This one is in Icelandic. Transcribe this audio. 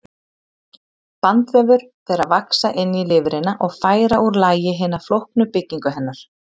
Bandvefur fer að vaxa inn í lifrina og færa úr lagi hina flóknu byggingu hennar.